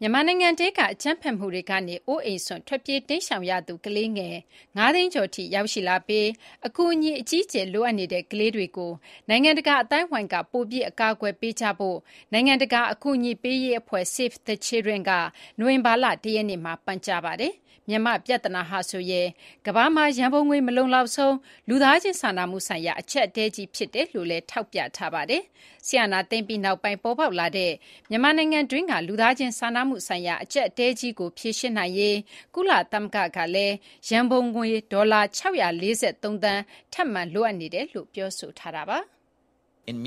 မြန်မာနိုင်ငံထဲက အကြမ်းဖက်မှုတွေကနေ အိုးအိမ်စွန့် ထွက်ပြေးတိမ်းရှောင်ရသူ ကလေးငယ် ၅ သိန်းကျော်ထိ ရောက်ရှိလာပြီး အကူအညီ အကြီးအကျယ် လိုအပ်နေတဲ့ ကလေးတွေကို နိုင်ငံတကာ အသိုင်းအဝိုင်းက ပိုပြီး အကာအကွယ်ပေးကြဖို့လည်း နိုင်ငံတကာ အကူအညီပေးရေး အဖွဲ့ Save the Children က နိုဝင်ဘာလ ၁ ရက်နေ့မှာ ပန်ကြားလိုက်ပါတယ်။ မြန်မာ့ ပြဿနာဟာဆိုရင် ကမ ္ဘာမှာ ရန်ပုံငွေ မလုံလောက်ဆုံး လူသားချင်း စာနာမှုဆိုင်ရာ အကြပ်အတည်းကြီး ဖြစ်တယ်လို့လည်း ထောက်ပြထားပါတယ်။ စစ်အာဏာသိမ်းပြီးနောက်ပိုင်း ပေါ်ပေါက်လာတဲ့ မြန်မာနိုင်ငံတွင်းက လူသားချင်း စာနာမှုဆိုင်ရာ အကြပ်အတည်းကြီးကို ဖြေရှင်းနိုင်ရေး ကုလသမဂ္ဂ ကလည်း ရန်ပုံငွေ ဒေါ်လာ ၆၄၃ သန်း ထပ်မံ လိုအပ်နေကြောင်းလည်း ပြောဆိုထားတာပါ။ မ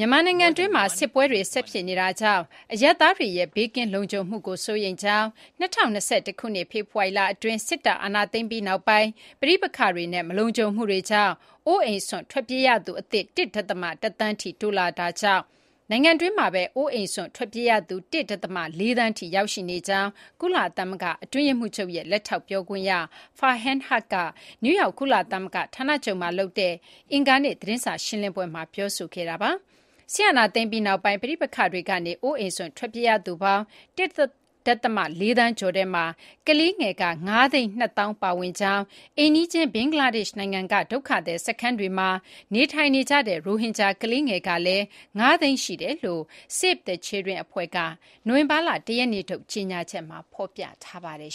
ြန်မာနိုင်ငံတွင်းမှာ စစ်ပွဲတွေ ဆက်ဖြစ်နေတာကြောင့် အရပ်သားတွေရဲ့ ဘေးကင်းလုံခြုံမှုကို စိုးရိမ်ကြောင်း၊ ၂၀၂၁ ခုနှစ် ဖေဖော်ဝါရီလ အတွင်း စစ်တပ် အာဏာသိမ်းပြီးနောက်ပိုင်း ပဋိပက္ခတွေနဲ့ မလုံခြုံမှုတွေကြောင့် အိုးအိမ်စွန့်ခွာ ထွက်ပြေးရသူအသစ် ( ၁ ဒသမ ၁ သန်း )ထိ တိုးလာတာကြောင့် နိုင်ငံတွင်းမှာပဲ အိုးအိမ်စွန့် ထွက်ပြေးရသူ ( ၁ ဒသမ ၄ သန်း) ထိ ရောက်ရှိနေကြောင်း ကုလသမဂ္ဂ အတွင်းရေးမှူးချုပ် ရဲ့ လက်ထောက် ပြောခွင့်ရ Farhan Haq က နယူးယောက် ကုလသမဂ္ဂ ဌာနချုပ်မှာ လုပ်တဲ့ အင်္ဂါနေ့ သတင်းစာ ရှင်းလင်းပွဲမှာ ပြောဆိုခဲ့ပါတယ်။ စစ်အာဏာသိမ်းပြီးနောက်ပိုင်း ပဋိပက္ခတွေကနေ အိုးအိမ်စွန့် ထွက်ပြေးရသူပေါင်း ( ၁ ဒသမ ၄ သန်းကျော်) ထဲမှာ ကလေးငယ် ( ၅၂၀,၀၀၀) ဦး ပါဝင်ကြောင်း၊ အိမ်နီးချင်း ဘင်္ဂလားဒေရှ့် နိုင်ငံက ဒုက္ခသည် စခန်းတွေမှာ နေထိုင်နေကြတဲ့ ရိုဟင်ဂျာ ကလေးငယ်ကလည်း ၅ သိန်း ရှိနေတယ်လို့လည်း ( Save the Children) အဖွဲ့က နိုဝင်ဘာလ ၁ ရက်နေ့ထုတ် ကြေညာချက်မှာ ဖော်ပြထားပါတယ်